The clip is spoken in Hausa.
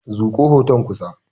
Zuƙo hoton kusa.